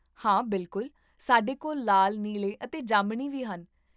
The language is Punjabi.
ਹਾਂ, ਬਿਲਕੁਲ, ਸਾਡੇ ਕੋਲ ਲਾਲ, ਨੀਲੇ ਅਤੇ ਜਾਮਣੀ ਵੀ ਹਨ